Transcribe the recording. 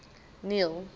neil